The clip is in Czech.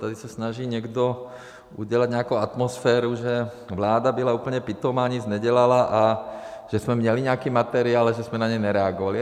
tady se snaží někdo udělat nějakou atmosféru, že vláda byla úplně pitomá, nic nedělala a že jsme měli nějaký materiál, ale že jsme na něj nereagovali.